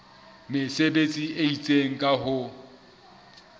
mesebetsi e itseng ka ho